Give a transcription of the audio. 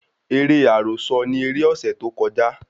Eré àròsọ ni eré ọ̀sẹ̀ tó kọjá